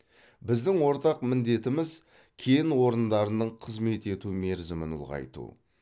біздің ортақ міндетіміз кен орындарының қызмет ету мерзімін ұлғайту